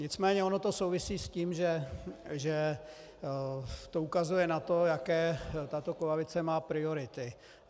Nicméně ono to souvisí s tím, že to ukazuje na to, jaké tato koalice má priority.